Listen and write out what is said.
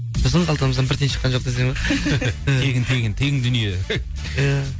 біздің қалтамыздан бір тиын шыққан жоқ десең иә тегін тегін тегін дүние иә